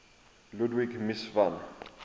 ludwig mies van